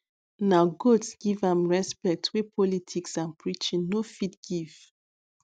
na goats give am respect wey politics and preaching no fit give